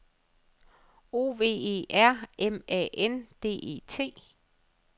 O V E R M A N D E T